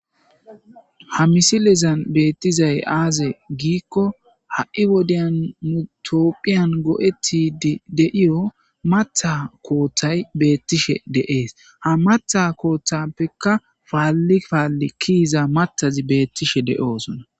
Ha misilizan beettizay aaze giikko ha'i wodeyn mutoopphiyan go'eti deiyo matha kooththay beettishe de'ees ha matha kooththappekka paalli paalli kiiza matazi beettishe deoosona